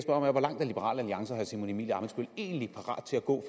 liberal alliance og herre simon emil ammitzbøll egentlig parat til at gå